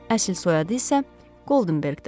Əsl soyadı isə Qoldenberqdir.